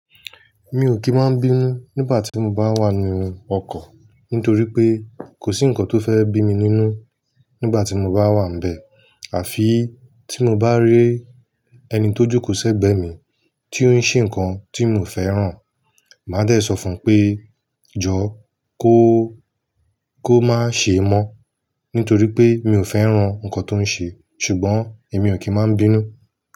Mi ò kì í máa ń bínú nígbà tí mo bá wà nínú ọkọ̀ nítorí pé kò sí ǹkan tó fẹ́ bí mi nínú nígbà tí mo bá wà níbẹ̀. Àfi tí mo bá rí ẹni tó jùkò sẹ́gbẹ̀ mi tí ó ń ṣe ǹkan tí mi ò fẹ́ràn, màá dẹ̀ ẹ sọ fún un pé "Jọ̀ọ́ kó, kó má ṣe mọ́" nítorí pé mi ò fẹ́ràn ǹkan tó ń ṣe. Ṣùgbọ́n èmi ò kí ń máa ń bínú.